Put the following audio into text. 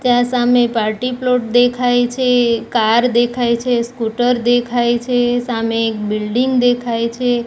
ત્યાં સામે party plot દેખાય છે કાર દેખાય છે સ્કૂટર દેખાય છે સામે એક બિલ્ડીંગ દેખાય છે.